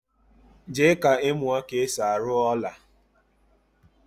jee ka imuo ka esi aru ola